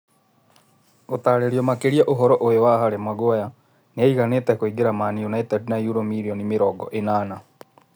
Gũtarĩrio makĩria ũhoro ũyũ wa Harĩ Maguere: Nĩ aiganĩte kũingĩra Maũndũ United na yuro mirioni mĩrongo-ĩnana?